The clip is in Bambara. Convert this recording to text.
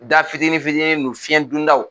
Da fitini fiini ninnu fiyɛn don daw.